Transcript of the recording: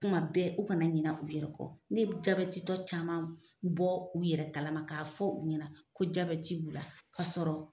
Kuma bɛɛ u kana ɲina u yɛrɛ kɔ ne ye jabɛti tɔ caman bɔ u yɛrɛ kalama k'a fɔ u ɲɛna ko jabeti b'u la ka sɔrɔ